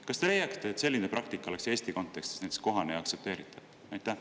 Kas te leiate, et selline praktika oleks Eesti kontekstis kohane ja aktsepteeritav?